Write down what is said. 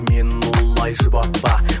мені олай жұбатпа